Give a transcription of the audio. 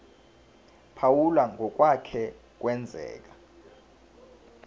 phawula ngokwake kwenzeka